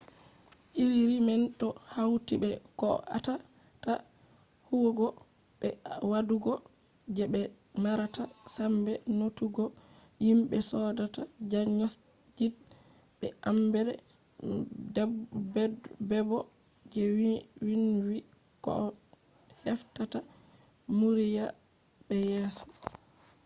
iriri man do hauti be koh atata huwugo be wadugo je be marata sambe notugo himbe sodata diagnosed be emde bebo je vinvi koh heftata murya be yeso